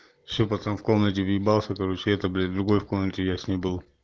всё потом в комнате въебался короче это блять другой комнате я с ней был